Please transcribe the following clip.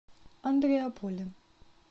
андреаполем